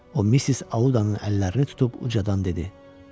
O Missis Audanın əllərini tutub ucadan dedi: